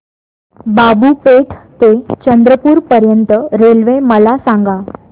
बाबूपेठ ते चंद्रपूर पर्यंत रेल्वे मला सांगा